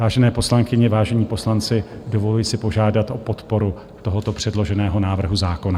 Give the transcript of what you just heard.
Vážené poslankyně, vážení poslanci, dovoluji si požádat o podporu tohoto předloženého návrhu zákona.